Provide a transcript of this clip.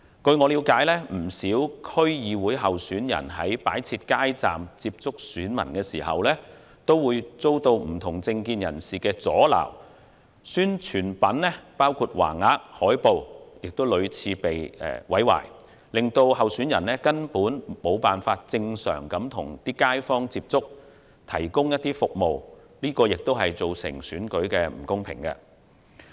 據我了解，不少區議會候選人在擺設街站與選民接觸時，均曾遭到不同政見人士阻撓，選舉宣傳品包括橫額、海報亦屢次被毀，令候選人未能正常地與街坊接觸，提供服務，這亦造成了選舉的不公平。